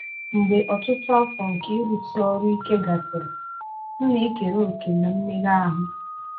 Mgbe ọtụtụ afọ nke ịrụsi ọrụ ike gasịrị, m na-ekere òkè na mmega ahụ.